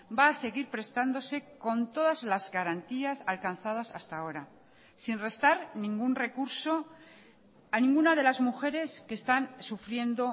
va a seguir prestándose con todas las garantías alcanzadas hasta ahora sin restar ningún recurso a ninguna de las mujeres que están sufriendo